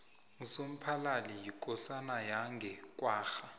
usomphalali yikosana yange kwagga